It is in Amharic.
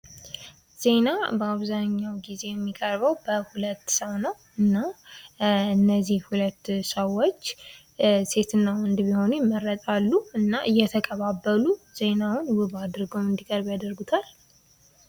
ዜና በአሁኑ ጊዜ የሚቀርበው በሁለት ሰው ነው። እና እነዚህ ሁለት ሰዎች ሴትና ወንድ ቢሆኑ ይመረጣሉ እና እየተቀባበሉ ዜናውን ውብ አድርገው እንድቀርብ ያደርጉታል።